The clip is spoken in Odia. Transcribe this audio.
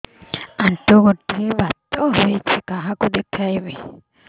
ଆଣ୍ଠୁ ଗଣ୍ଠି ବାତ ହେଇଚି କାହାକୁ ଦେଖାମି